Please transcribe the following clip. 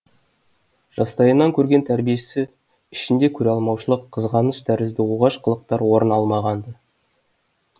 жастайынан көрген тәрбиесі ішінде көреалмаушылық қызғаныш тәрізді оғаш қылықтар орын алмаған